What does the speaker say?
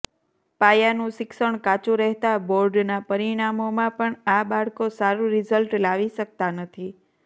પાયાનું શિક્ષણ કાચુ રહેતા બોર્ડના પરિણામોમાં પણ આ બાળકો સારુ રીઝલ્ટ લાવી શકતા નથી